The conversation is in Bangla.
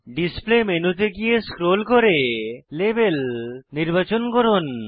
ডিসপ্লে মেনুতে গিয়ে স্ক্রোল করে লাবেল নির্বাচন করুন